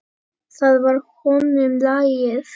Það var honum lagið.